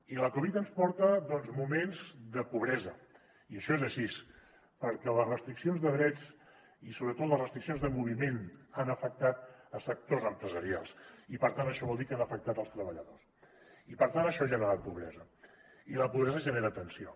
i la covid ens porta doncs moments de pobresa i això és així perquè les restriccions de drets i sobretot les restriccions de moviment han afectat sectors empresarials i per tant això vol dir que han afectat els treballadors i per tant això ha generat pobresa i la pobresa genera tensió